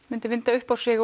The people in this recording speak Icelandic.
myndi vinda upp á sig